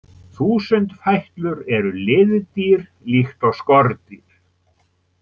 Þúsundfætlur eru liðdýr líkt og skordýr.